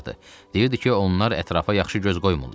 Deyirdi ki, onlar ətrafa yaxşı göz qoymurlar.